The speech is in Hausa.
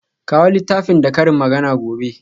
Kawo littafin da karin magana gobe.